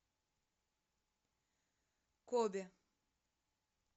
кобе